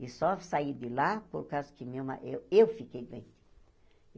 E só saí de lá por causa que meu ma eu eu fiquei doente.